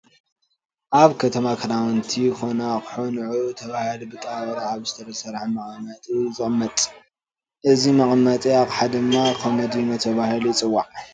ኣብ ከተማ ክዳውንቲ ኮነ ኣቑሑ ንዑዑ ተባሂሉ ብጣውላ ኣብ ዝተሰርሐ መቐመጢ እዩ ዝቕመጥ፡፡ እዚ መቐመጢ ኣቕሓ ድማ ኮሞዲኖ ተባሂሉ ይፅዋዕ፡፡